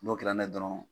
N'o kɛra n'i ye dɔrɔn